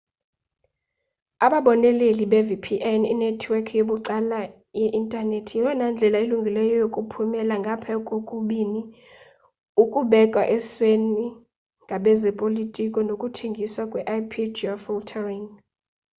ababoneleli be-vpn inethiwekhi yabucala yeintanethi yeyona ndlela ilungileyo yokuphumela ngaphaya kokubini ukubekwa esweni ngabezopolitiko nokuthengiswa kwe-ip-geofiltering